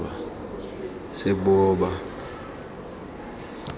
seboba